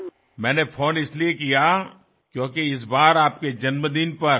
আমি এই জন্য ফোন করেছিলাম কারণ এবার আপনার জন্মদিনে